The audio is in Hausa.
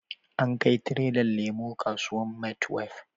An kai tirelan lemo kasuwan maitwef